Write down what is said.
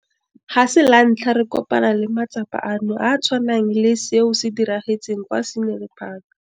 Ga se lantlha re kopana le matsapa ano a a tshwanang le seo se diragetseng kwa Scenery Park.